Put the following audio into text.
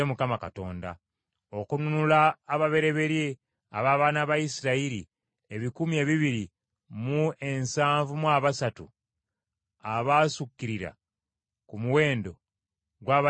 Okununula ababereberye ab’abaana ba Isirayiri ebikumi ebibiri mu ensanvu mu abasatu abasukkirira ku muwendo gw’Abaleevi abasajja,